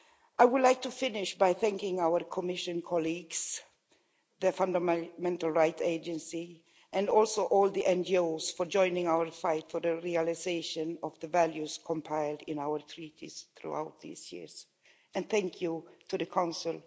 I would like to finish by thanking our Commission colleagues, the Fundamental Rights Agency and also all the NGOs for joining our fight for the realisation of the values compiled in our treaties throughout these years and thank you to the Council.